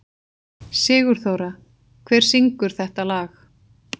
Sigurþóra, hver syngur þetta lag?